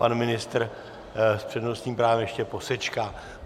Pan ministr s přednostním právem ještě posečká.